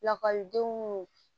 Lakɔlidenw